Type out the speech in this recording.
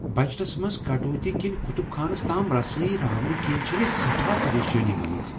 بجٹس منز كٹوتی كِنہِ كٗتٗب خانس تام رسٲیی راونہٕ كِنہِ چھِ مے٘ سیٹھاہ پریشٲنی گٲمٕژ ۔